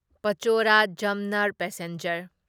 ꯄꯆꯣꯔꯥ ꯖꯝꯅꯦꯔ ꯄꯦꯁꯦꯟꯖꯔ